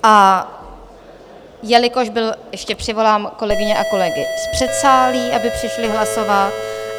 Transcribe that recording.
A jelikož byl... ještě přivolám kolegyně a kolegy z předsálí, aby přišli hlasovat.